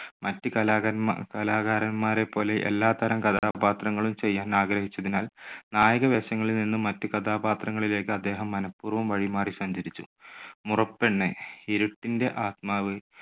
മറ്റ് കലാകാരന്മാ~കലാകാരന്മാരെപ്പോലെ എല്ലാത്തരം കഥാപാത്രങ്ങളും ചെയ്യാൻ ആഗ്രഹിച്ചതിനാൽ നായക വേഷങ്ങളിൽ നിന്ന് മറ്റ് കഥാപാത്രങ്ങളിലേക്ക് അദ്ദേഹം മനപൂർവ്വം വഴിമാറി സഞ്ചരിച്ചു. മുറപ്പെണ്ണ്, ഇരുട്ടിന്റെ ആത്മാവ്,